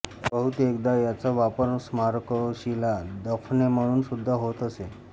बहुतेकदा याचा वापर स्मारकशिला दफने म्हणून सुद्धा होत असे